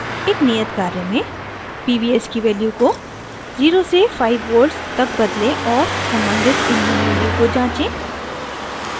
एक नियत कार्य में